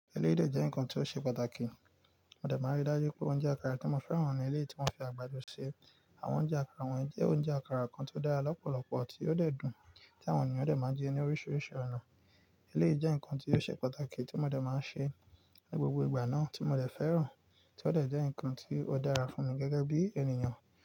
Eléyìí de jẹ́ ǹnkan tí ó ṣe pàtàkì. Mó dẹ̀ máa ríi dájú pé oúnjẹ àkàrà tí mo fẹ́ràn ní eleyii ti wọ́n fi àgbàdo ṣe. Àwọn oúnjẹ àkàrà wọ̀nyí jẹ́ oúnjẹ àkàrà kan tó dára lọ́pọ̀lọpọ̀ tí ó dẹ̀ dùn, tí àwọn ènìyàn dẹ̀ máa ń jẹ ní oríṣiríṣi ọ̀nà. Eléyìí jẹ́ ǹnkan tí ó ṣe pàtàkì tí mo dẹ̀ máa ń ṣe ní gbogbo ìgbà náà tí mo dẹ̀ fẹ́ràn, tí ó dẹ̀ jẹ́ ǹnkan tí ó dára fún mi gẹ́gẹ́ bí ènìyàn.